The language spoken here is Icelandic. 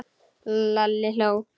Lalli hló.